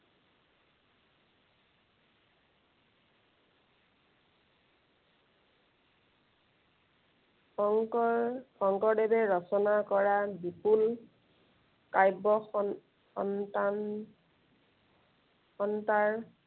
শংকৰ শংকৰদেৱে ৰচনা কৰা বিপুল কাব্য় স~সন্তান সত্ত্বাৰ